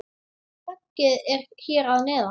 Höggið er hér að neðan.